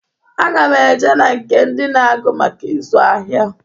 Aga m e je na nke ndị na-agụ maka ịzụ ahịa.